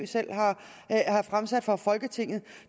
selv har fremsat for folketinget